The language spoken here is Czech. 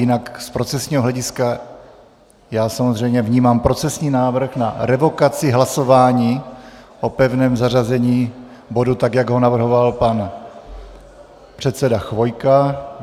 Jinak z procesního hlediska já samozřejmě vnímám procesní návrh na revokaci hlasování o pevném zařazení bodu, tak jak ho navrhoval pan předseda Chvojka.